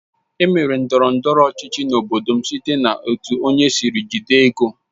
Emere ndọrọ ndọrọ ọchịchị n'obodo m site n'etu onye sịrị jide ego